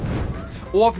of